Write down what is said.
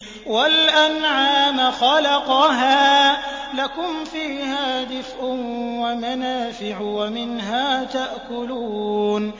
وَالْأَنْعَامَ خَلَقَهَا ۗ لَكُمْ فِيهَا دِفْءٌ وَمَنَافِعُ وَمِنْهَا تَأْكُلُونَ